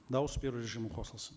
дауыс беру режимі қосылсын